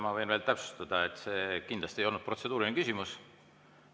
Ma võin veel täpsustada, et see kindlasti ei olnud protseduuriline küsimus.